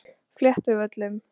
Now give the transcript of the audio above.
Fléttuvöllum